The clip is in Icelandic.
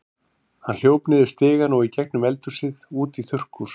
Hann hljóp niður stigann og í gegnum eldhúsið út í þurrkhús.